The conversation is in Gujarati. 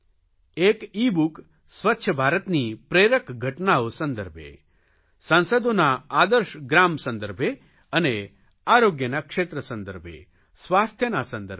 એક ઇબુક સ્વચ્છ ભારતની પ્રેરક ઘટનાઓ સંદર્ભે સાંસદોના આદર્શ ગ્રામ સંદર્ભે અને આરોગ્યના ક્ષેત્ર સંદર્ભે સ્વાસ્થ્યના સંદર્ભે